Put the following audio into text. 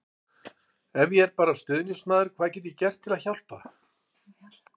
Ef ég er bara stuðningsmaður, hvað get ég gert til að hjálpa?